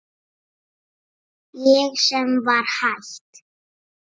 Ég sem var hætt.